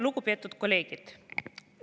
Lugupeetud kolleegid!